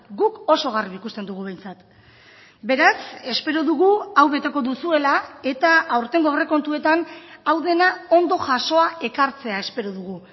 guk oso garbi ikusten dugu behintzat beraz espero dugu hau beteko duzuela eta aurtengo aurrekontuetan hau dena ondo jasoa ekartzea espero dugu